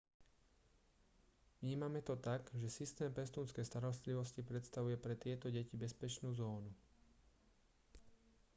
vnímame to tak že systém pestúnskej starostlivosti predstavuje pre tieto deti bezpečnú zónu